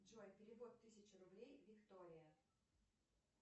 джой перевод тысяча рублей виктория